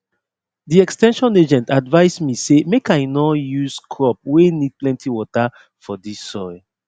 de ex ten sion agent advice me say make i nor use crop wey need plenty water for dis soil